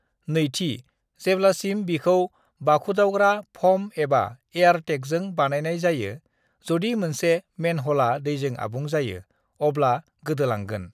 "नैथि, जेब्लासिम बिखौ बाखुदावग्रा फ'म एबा एयार टेंकजों बानायनाय जायो, जदि मोनसे मेनहला दैजों आबुं जायो, अब्ला गोदोलांगोन।"